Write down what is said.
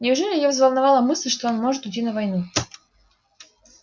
неужели её взволновала мысль что он может уйти на войну